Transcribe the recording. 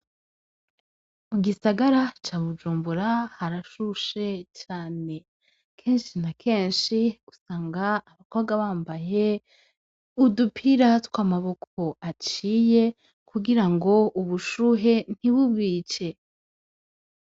Mu gisagara ca Bujumbura harashushe cane. Kenshi na kenshi usanga abakobwa bambaye udupira tw'amaboko aciye kugirango ubushuhe ntibubice.